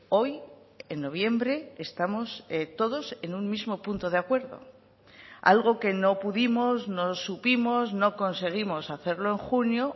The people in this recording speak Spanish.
hoy en noviembre estamos todos en un mismo punto de acuerdo algo que no pudimos no supimos no conseguimos hacerlo en junio